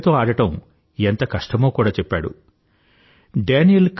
అతడితో ఆడడం ఎంత కష్టమో కూడా చెప్పాడు డానీల్